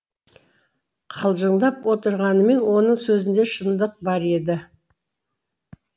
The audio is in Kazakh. қалжыңдап отырғанмен оның сөзінде шындық бар еді